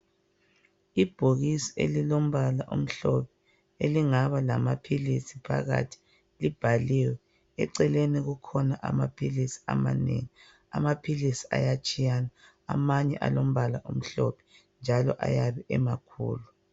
Ibhokisi elilombala omhlophe elingaba lamaphilisi phakathi, libhaliwe. Eceleni kukhona amaphilisi amanengi, amaphilisi ayatshiyana amanye alombala omhlophe njalo ayabe emakhulu.